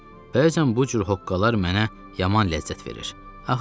Bəzən bu cür hoqqalar mənə yaman ləzzət verir.